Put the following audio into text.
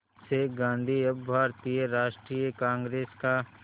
से गांधी अब भारतीय राष्ट्रीय कांग्रेस का